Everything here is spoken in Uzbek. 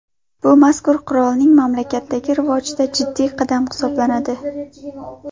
Bu mazkur qurolning mamlakatdagi rivojida jiddiy qadam hisoblanadi.